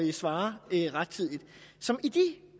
besvare rettidigt så i de